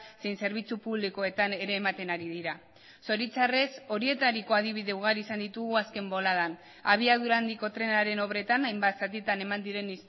zein zerbitzu publikoetan ere ematen ari dira zoritxarrez horietariko adibide ugari izan ditugu azken boladan abiadura handiko trenaren obretan hainbat zatitan eman diren